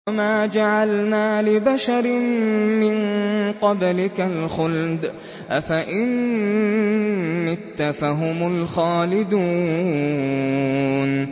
وَمَا جَعَلْنَا لِبَشَرٍ مِّن قَبْلِكَ الْخُلْدَ ۖ أَفَإِن مِّتَّ فَهُمُ الْخَالِدُونَ